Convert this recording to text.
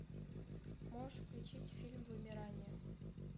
можешь включить фильм вымирание